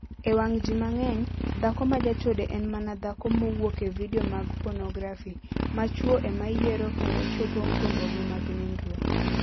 E wang' ji mang'eny, dhako ma jachode en mana dhako mowuok e vidio mag ponografi, ma chwo ema yiero kendo chopo gombogi mag nindruok.